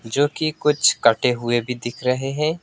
जो कि कुछ कटे हुए भी दिख रहे हैं।